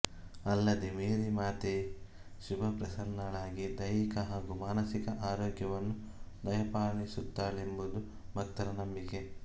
ಅಲ್ಲದೆ ಮೇರಿ ಮಾತೆ ಶುಭಪ್ರಸನ್ನಳಾಗಿ ದೈಹಿಕ ಹಾಗೂ ಮಾನಸಿಕ ಆರೋಗ್ಯವನ್ನು ದಯಪಾಲಿಸುತ್ತಾಳೆಂಬುದು ಭಕ್ತರ ನಂಬಿಕೆ